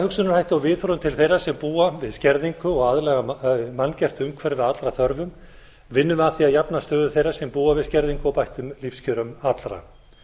hugsunarhætti og viðhorfum til þeirra sem búa við skerðingu og aðlaga manngert umhverfi að allra þörfum vinnum við að því að jafna stöðu þeirra sem búa við skerðingu og bættum lífskjörum allra